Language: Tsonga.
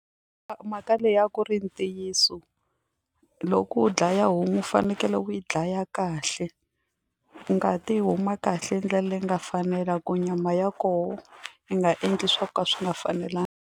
Mhaka leyi a ku ri ntiyiso loko u dlaya homu u fanekele u yi dlaya kahle ngati yi huma kahle hi ndlela leyi nga fanela ku nyama ya kona yi nga endli swo ka swi nga fanelangi.